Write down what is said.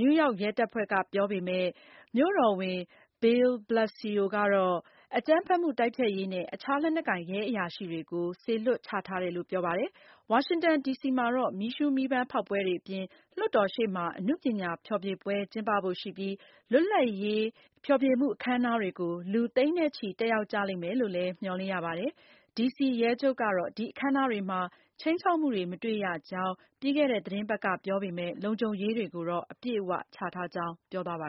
နယူးရောက် ရဲတပ်ဖွဲ့ကပြောပေမယ့် မြို့တော်ဝန် Bill de Blasio ကတော့ အကြမ်းဖက်မှုတိုက်ဖျက်ရေးနဲ့ အခြားလက်နက်ကိုင် ရဲအရာရှိတွေကို စေလွှတ်ချထားတယ်လို့ ပြောပါတယ်။ ဝါရှင်တန်ဒီစီမှာတော့ မီးရှုမီးပန်းဖောက်ပွဲအပြင် လွှတ်တော်ရှေ့မှာ အနုပညာဖျော်ဖြေပွဲကျင်းပဖို့ရှိပြီး လွတ်လပ်ရေး ဖျော်ဖြေမှုအခမ်းအနားတွေကို လူသိန်းနဲ့ချီ တက်ရောက်ကြလိမ့်မယ်လို့ မျှော်လင့်ရပါတယ်။ ဒီစီရဲချုပ်ကတော့ ဒီအခမ်းအနားတွေမှာ ခြိမ်းခြောက်မှုတွေ မတွေ့ရကြောင်း ပြီးခဲ့တဲ့ သတင်းပတ်ကပြောပေမယ့် လုံခြုံရေးတွေကို အပြည့်အဝချထားကြောင်း ပြောပါ